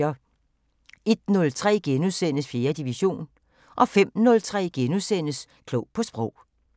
01:03: 4. division * 05:03: Klog på Sprog *